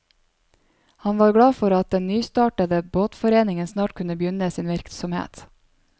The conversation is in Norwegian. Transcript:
Han var glad for at den nystartede båtforeningen snart kunne begynne sin virksomhet.